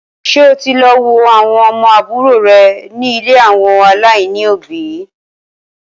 Ṣé o ti lọ wo àwọn ọmọ àbúrò rè ni ilé àwọn aláìní òbí?